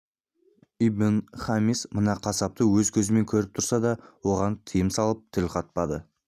ибн-хамис мына қасапты өз көзімен көріп тұрса да оған тыйым салып тіл қатпады